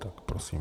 Tak prosím.